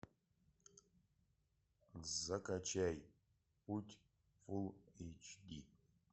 закачай путь фул эйч ди